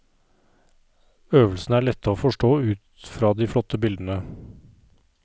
Øvelsene er lette å forstå ut fra de flotte bildene.